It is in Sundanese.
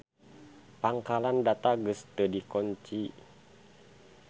Pangkalan data geus teu dikonci.